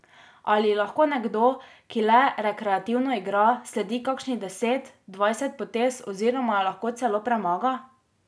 Ali ji lahko nekdo, ki le rekreativno igra, sledi kakšnih deset, dvajset potez oziroma jo lahko celo premaga?